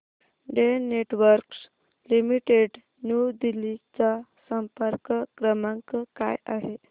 Den networks limited New Delhi चा संपर्क क्रमांक काय आहे